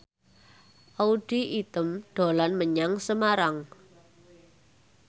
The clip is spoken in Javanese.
Audy Item dolan menyang Semarang